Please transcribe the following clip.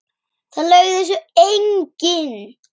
Það laug þessu enginn.